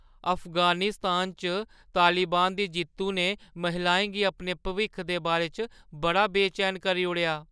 अफगानिस्तान च तालिबान दी जित्तुु ने महिलाएं गी अपने भविक्ख दे बारे च बड़ा बेचैन करी ओड़ेआ।